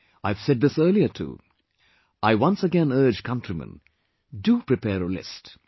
I have said this earlier too...I once again urge countrymen...do prepare a list